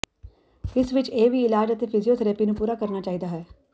ਇਸ ਵਿਚ ਇਹ ਵੀ ਇਲਾਜ ਅਤੇ ਫਿਜ਼ੀਓਥਰੈਪੀ ਨੂੰ ਪੂਰਾ ਕਰਨਾ ਚਾਹੀਦਾ ਹੈ